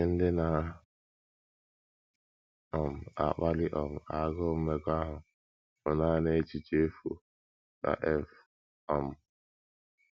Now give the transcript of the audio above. Ihe ndị na - um akpali um agụụ mmekọahụ bụ nanị echiche efu, ” ka F. um